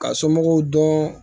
Ka somɔgɔw dɔn